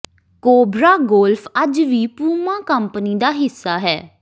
cobra Golf ਅੱਜ ਵੀ Puma company ਦਾ ਹਿੱਸਾ ਹੈ